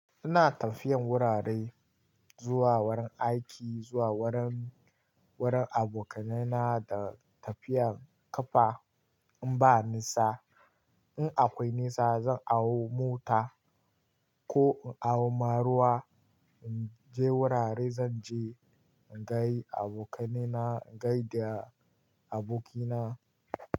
Ina tafiyan wurare, zuwa wurin aiki, zuwa wurin, wurin abokanaina da tafiyan ƙafa in ba nisa. In akwai nisa zan awo mota ko in awo maruwa in je wurare zan je in ga abokanaina, in gaida abokina.